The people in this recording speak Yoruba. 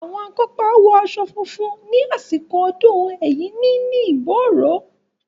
Àwọn akópa wọ aṣọ funfun ní àsìkò ọdún Ẹ̀yíní ní Ìbóòrò.